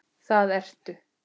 Það ertu.